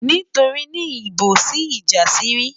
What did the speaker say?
Nítorí nìyí ńbo sí ìjànsírí?